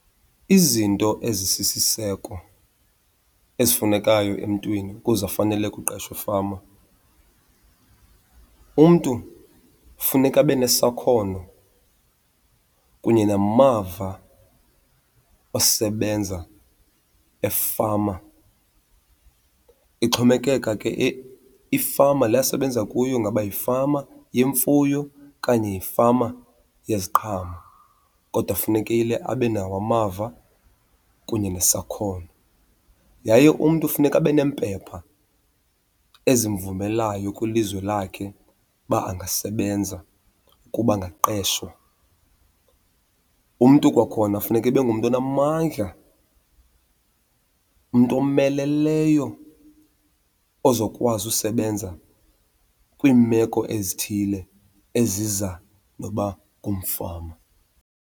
Izinto ezisisiseko ezifunekayo emntwini ukuze afanele kuqeshwa efama, umntu kufuneka abe nesakhono kunye namava osebenza efama. Ixhomekeka ke ifama le asebenza kuyo ngaba yifama yemfuyo okanye yifama yeziqhamo kodwa funekile abe nawo amava kunye nesakhono. Yaye umntu funeka abe neempepha ezimvumelayo kwilizwe lakhe uba angasebenza, ukuba angaqeshwa. Umntu kwakhona funeka ibe ngumntu onamandla, umntu omeleleyo ozokwazi usebenza kwiimeko ezithile eziza noba ngumfama.